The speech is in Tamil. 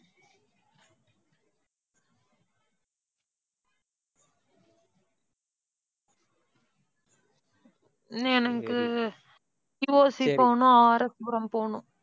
இன்னும் எனக்கு VOC போகணும் RS புரம் போகணும்